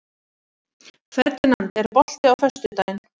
Ferdinand, er bolti á föstudaginn?